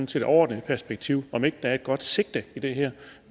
til det overordnede perspektiv er der et godt sigte i det her